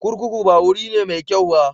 Kurkuku ba wuri ne mai kyau ba.